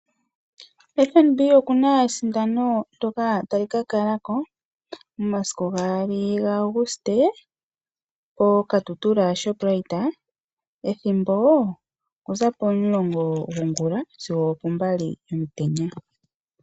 FNB oku na esindano ndyoka tali ka kalako momasiku gaali gaAguste poKatutura Shoprite ethimbo okuza pomulongo gongula sigo opombali yomutenya.